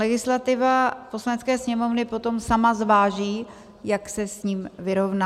Legislativa Poslanecké sněmovny potom sama zváží, jak se s ním vyrovná.